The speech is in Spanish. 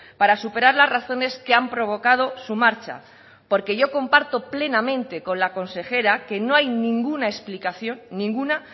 para superar las razones que han provocado su marcha porque yo comparto plenamente con la consejera que no hay ninguna explicación ninguna